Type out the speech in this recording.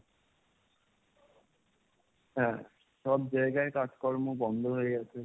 হ্যাঁ সব জায়গায় কাজকর্ম বন্ধ হয়ে গেছে,